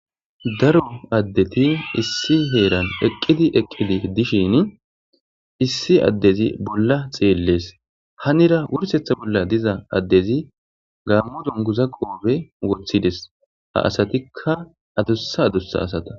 Daro adeti issi heeran eqidi eqidi dishini issi adezi bola xeeles hanira worsetha bola diza adezi gaamo dunguza qoophe wothides ha asatika adusa adusa asata.